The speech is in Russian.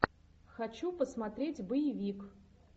хочу посмотреть боевик